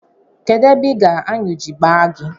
Kedụ ebe ị gara aṅụ ji gbaa gị?